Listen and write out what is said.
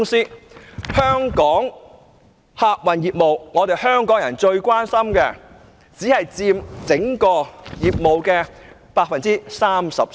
當中的香港客運業務，即是香港人最關心的業務，竟然只佔其所有業務的 33%。